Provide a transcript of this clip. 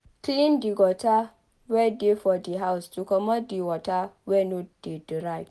Clean the gutter wey dey for di house to comot water wey no dey dry